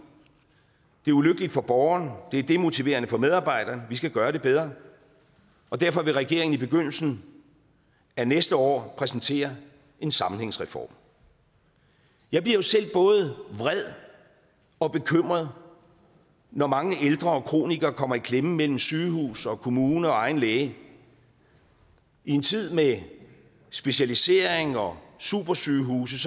det er ulykkeligt for borgeren det er demotiverende for medarbejderen vi skal gøre det bedre derfor vil regeringen i begyndelsen af næste år præsentere en sammenhængsreform jeg bliver jo selv både vred og bekymret når mange ældre og kronikere kommer i klemme imellem sygehus og kommune og egen læge i en tid med specialisering og supersygehuse